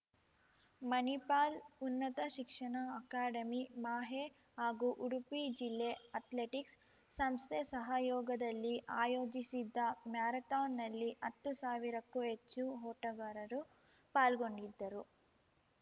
ಮಣಿಪಾಲ್ ಉನ್ನತ ಶಿಕ್ಷಣ ಅಕಾಡೆಮಿಮಾಹೆ ಹಾಗೂ ಉಡುಪಿ ಜಿಲ್ಲೆ ಅಥ್ಲೆಟಿಕ್ಸ್‌ ಸಂಸ್ಥೆ ಸಹಯೋಗದಲ್ಲಿ ಆಯೋಜಿಸಿದ್ದ ಮ್ಯಾರಥಾನ್‌ನಲ್ಲಿ ಹತ್ತು ಸಾವಿರಕ್ಕೂ ಹೆಚ್ಚು ಓಟಗಾರರು ಪಾಲ್ಗೊಂಡಿದ್ದರು